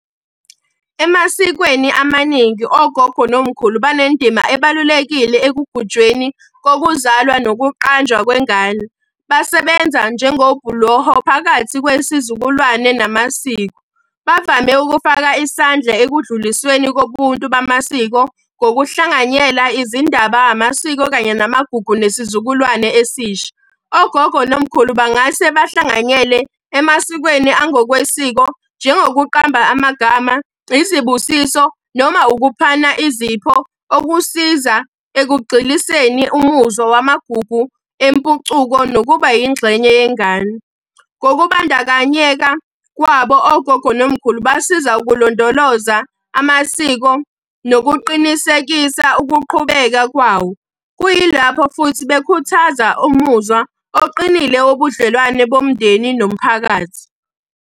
Emasikweni amaningi ogogo nomkhulu banendima ebalulekile ekugujweni kokuzalwa nokuqanjwa kwengane. Basebenza njengobhuloho phakathi kwesizukulwane namasiko. Bavame ukufaka isandla ekudlulisweni kobuntu bamasiko ngokuhlanganyela izindaba, amasiko, kanye namagugu, nesizukulwane esisha. Ogogo nomkhulu bangase bahlanganyele emasikweni angokwesiko njengokuqamba amagama, izibusiso, noma ukuphana izipho okusiza ekugxiliseni umuzwa wamagugu empucuko nokuba yingxenye yengane. Ngokubandakanyeka kwabo ogogo nomkhulu basiza ukulondoloza amasiko nokuqinisekisa ukuqhubeka kwawo. Kuyilapho futhi bekhuthaza umuzwa oqinile wobudlelwane bomndeni nomphakathi.